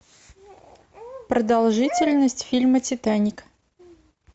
продолжительность фильма титаник